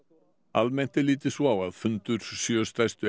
almennt er litið svo á að fundur sjö stærstu